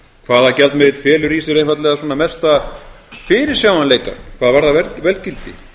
hvaða gjaldmiðill felur í sér einfaldlega svona mesta fyrirsjáanleika hvað varðar verðgildi